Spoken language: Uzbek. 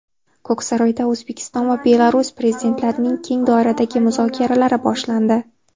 Ko‘ksaroyda O‘zbekiston va Belarus Prezidentlarining keng doiradagi muzokaralari boshlandi.